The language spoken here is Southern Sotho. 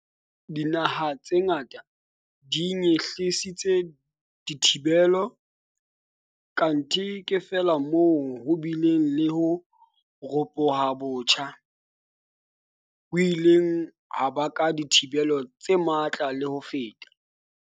Dinaha tse ngata di nyehlisitse dithibelo, kanthe ke feela moo ho bileng le ho ropoha botjha, ho ileng ha baka dithibelo tse matla le ho feta.